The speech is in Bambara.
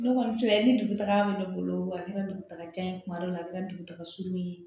Ne kɔni filɛ ni dugu taga bɛ ne bolo a kɛra dugutaga ye kuma dɔ la a kɛra dugutaga sugu ye